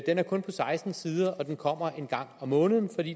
er kun på seksten sider og den kommer en gang om måneden